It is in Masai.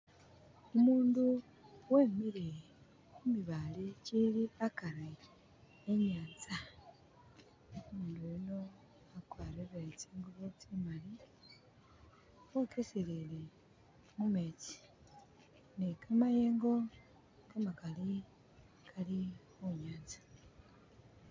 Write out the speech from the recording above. Umuundu wemile khu mibaale kikiili akari e i'nyaanza, umuundu uyuno wakwarire tsinguubo tsi maali wokeselele mu meetsi ne kamayengo kamakaali kali khu nyaanza.